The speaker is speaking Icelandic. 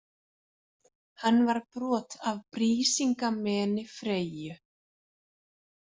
Hann var brot af Brísingameni Freyju.